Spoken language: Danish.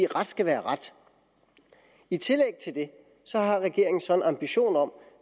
ret skal være ret i tillæg til det har regeringen så en ambition om